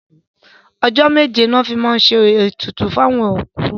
Ọjọ́ méje ni wọ́n máa ń fi ṣe ètùtù fún òkú.